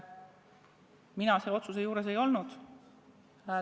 Mina selle otsuse tegemise juures ei olnud.